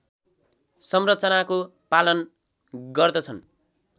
संरचनाको पालन गर्दछन्